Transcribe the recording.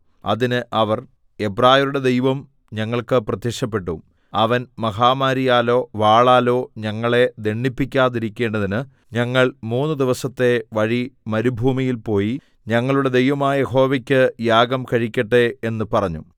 അതിന് അവർ എബ്രായരുടെ ദൈവം ഞങ്ങൾക്ക് പ്രത്യക്ഷപ്പെട്ടു അവൻ മഹാമാരിയാലോ വാളാലോ ഞങ്ങളെ ദണ്ഡിപ്പിക്കാതിരിക്കേണ്ടതിന് ഞങ്ങൾ മൂന്ന് ദിവസത്തെ വഴി മരുഭൂമിയിൽ പോയി ഞങ്ങളുടെ ദൈവമായ യഹോവയ്ക്ക് യാഗം കഴിക്കട്ടെ എന്ന് പറഞ്ഞു